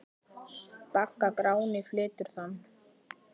Bagga Gráni flytur þann.